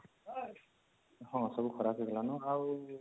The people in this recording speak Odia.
ହଁ ସବୁ ଖରାବ ହେଇଗଲନ ଆଉ